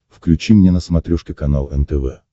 включи мне на смотрешке канал нтв